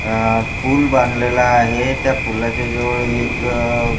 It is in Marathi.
अ पुल बांधलेला आहे त्या पुलाच्या जवळ एक--